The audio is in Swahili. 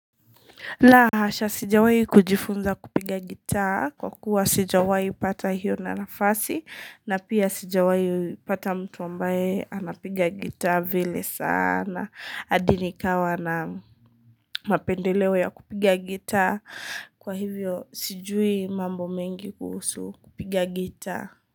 La hasha sijawahi kujifunza kupiga gita kwa kuwa sijawahi pata hiyo nafasi na pia sijawahi pata mtu ambaye anapiga gita vile saana hadi nikawa na mapendeleo ya kupiga gita kwa hivyo sijui mambo mengi kuhusu kupiga gita.